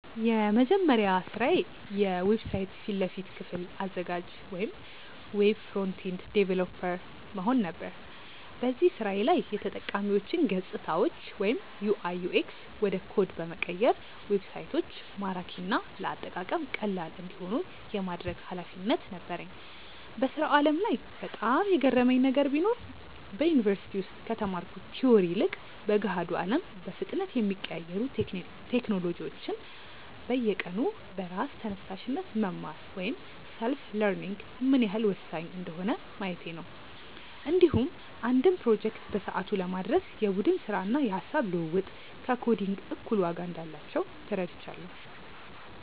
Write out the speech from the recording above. የመጀመሪያ ስራዬ የዌብሳይት ፊት ለፊት ክፍል አዘጋጅ (Web Front-End Developer) መሆን ነበር። በዚህ ስራዬ ላይ የተጠቃሚዎችን ገፅታዎች (UI/UX) ወደ ኮድ በመቀየር ዌብሳይቶች ማራኪና ለአጠቃቀም ቀላል እንዲሆኑ የማድረግ ኃላፊነት ነበረኝ። በስራው ዓለም ላይ በጣም የገረመኝ ነገር ቢኖር፣ በዩኒቨርሲቲ ውስጥ ከተማርኩት ቲዎሪ ይልቅ በገሃዱ አለም በፍጥነት የሚቀያየሩ ቴክኖሎጂዎችን በየቀኑ በራስ ተነሳሽነት መማር (Self-learning) ምን ያህል ወሳኝ እንደሆነ ማየቴ ነው። እንዲሁም አንድን ፕሮጀክት በሰዓቱ ለማድረስ የቡድን ስራና የሃሳብ ልውውጥ ከኮዲንግ እኩል ዋጋ እንዳላቸው ተረድቻለሁ።